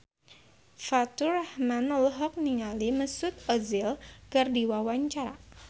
Faturrahman olohok ningali Mesut Ozil keur diwawancara